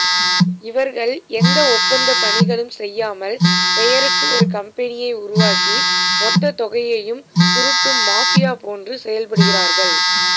இவர்கள் எந்த ஒப்பந்தப் பணிகளும் செய்யாமல் பெயருக்கு ஒரு கம்பெனியை உருவாக்கி மொத்த தொகையையும் சுருட்டும் மாஃபியா போன்று செயல்படுகிறார்கள்